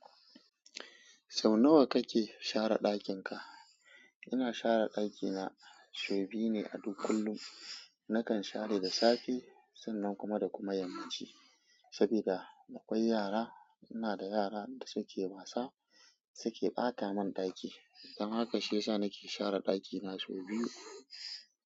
Sau nawa kake share ɗakin ka? Ina share ɗakina sau biyu ne a duk kullum. Nakan share da safe sannan kuma da kuma yammaci. Sabida akwai yara, ina da yara da suke wasa suke ɓata mun ɗaki. Don haka shi ya sa nake share ɗakina sau biyu.